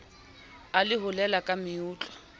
a le holena la meutlwa